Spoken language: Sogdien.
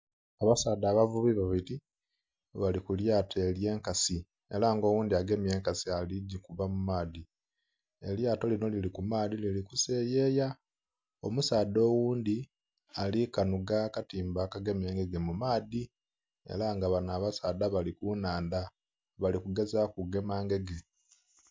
Abasaadha abavubi babili bali ku lyato ely'enkasi ela nga oghundhi agemye enkasi ali gikuba mu maadhi. Elyato linho lili ku maadhi lili kuseyeya. Omusaadha oghundhi ali kanhuga akatimba akagema engege mu maadhi. Ela nga bano abasaadha bali ku nnhandha bali kugezaaku kugema ngege.